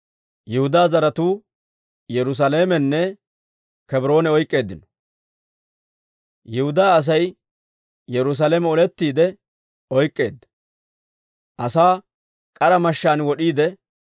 Yihudaa Asay Yerusaalame olettiide oyk'k'eedda; asaa k'ara mashshaan wod'iide, katamaa taman s'uuggeedda.